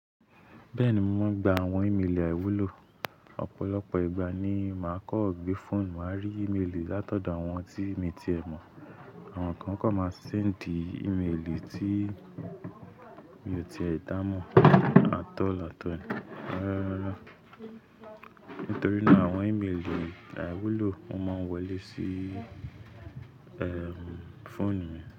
Bẹ́ẹ̀ni, mò ń gba àwọn ìmelì àíwúlò. Ọ̀pọ̀lọpọ̀ ìgbà ni màá kọ̀ ọ́ gbé fóònù, màá rí ìmelì látọ̀dọ̀ àwọn tí mi ti ẹ mọ̀. Àwọn kan kọ̀ máa ṣe sendí ìmelì tí mi ò ti è dá mọ̀. At all at all. Rárá, nítorí náà àwọn ìmelì àíwúlò o máa ń wọlé sí ẹ́m fóònù yen.